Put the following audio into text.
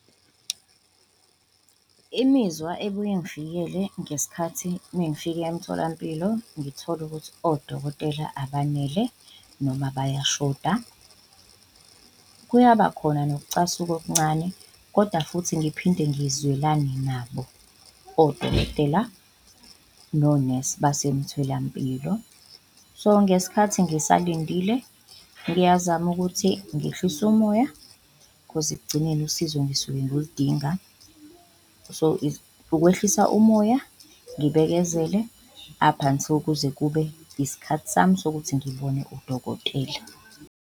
Imizwa ebuye ingifikele ngesikhathi mengifika emtholampilo ngithola ukuthi odokotela abanele noma bayashoda, kuyaba khona nokucasuka okuncane koda futhi ngiphinde ngizwelane nabo odokotela nonesi basemtholampilo. So, ngesikhathi ngisalindile ngiyazama ukuthi ngehlise umoya khozi ekugcineni usizo ngisuke ngiludinga so, ukwehlisa umoya, ngibekezele up until kuze kube isikhathi sami sokuthi ngibone udokotela.